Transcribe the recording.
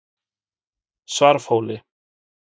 Svarfhóli